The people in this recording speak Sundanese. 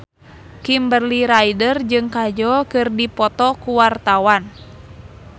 Kimberly Ryder jeung Kajol keur dipoto ku wartawan